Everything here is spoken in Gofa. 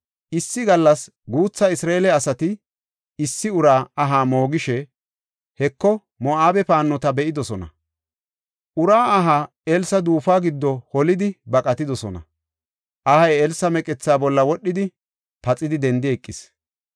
Issi gallas guutha Isra7eele asati issi uraa aha moogishe, Heko, Moo7abe paannota be7idosona. Uraa aha Elsa duufuwa giddo holidi baqatidosona. Ahay Elsa meqethaa bolla wodhidi, paxidi dendi eqis.